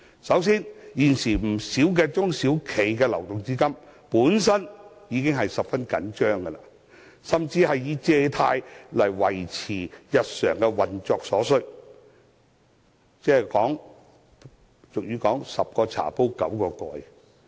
首先，現時不少中小企的流動資金已是十分緊張，甚至需要靠借貸來維持日常的運作，情況猶如俗語所說的"十個茶煲九個蓋"。